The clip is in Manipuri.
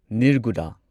ꯅꯤꯔꯒꯨꯗ